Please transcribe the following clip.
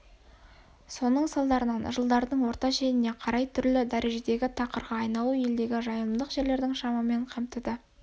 соның салдарынан жылдардың орта шеніне қарай түрлі дрежедегі тақырға айналу елдегі жайылымдық жерлердің шамамен қамтыды